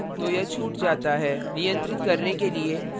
नियंत्रित करने के लिए फिर अगले statement पर चला जाता है